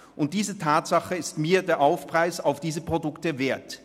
Und diese Tatsache ist mir den Aufpreis auf diesen Produkten wert.